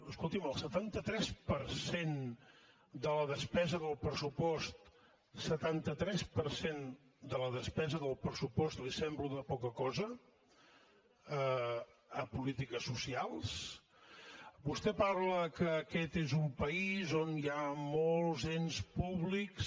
escolti’m el setanta tres per cent de la despesa del pressupost el setanta tres per cent de la despesa del pressupost li sembla una poca cosa a polítiques socials vostè parla que aquest és un país on hi ha molts ens públics